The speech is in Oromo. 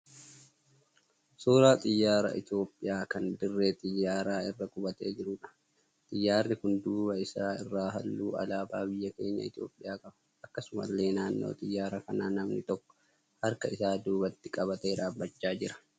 Suuraa xiyyaara Itiyoopiyaa kan dirree xiyyaaraa irra qubatee jiruudha. Xiyyaarri kun duuba isaa irraa halluu alaabaa biyya keenya Itiyoopiyaa qaba. Akkasumallee naannoo xiyyaara kanaa namni tokko harka isaa duubatti qabatee dhaabbachaa jira.